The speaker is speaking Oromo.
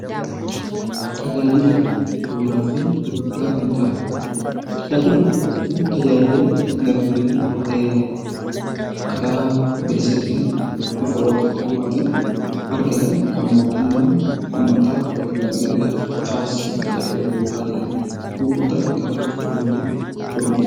Tajaajila Bu'uuraa fi Gurgurtaa Qinxaaboo Tajaajila Bu'uuraa jechuun tajaajila lammiileen karaa bilisa ta'een, bifa wal qixxummaa tiin argatan, kan mootummaan uummataaf yookaan lammiilee dhaaf taasisu 'Tajaajila Bu'uuraa' jedhama. Gurgurtaa Qinxaaboo jechuun immoo gurgurtaa